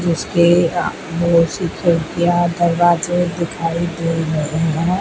इसके बहोत सी खिड़कियां दरवाजे दिखाई दे रहे हैं।